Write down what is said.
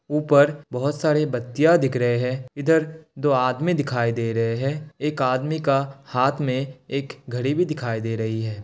ऊपर बहोत सरे बत्तियां दिख रहे हैं। इधर दो आदमी दिखाई दे रहे हैं। एक आदमी का हाथ में एक घड़ी भी दिखाई दे रही है।